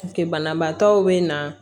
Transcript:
Banabaatɔw be na